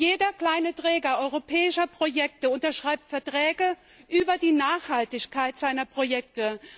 Jeder kleine Träger europäischer Projekte unterschreibt Verträge über die Nachhaltigkeit seiner Projekte.